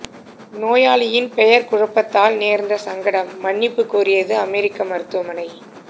நோயாளியின் பெயர் குழப்பத்தால் நேர்ந்த சங்கடம் மன்னிப்பு கோரியது அமெரிக்க மருத்துவமனை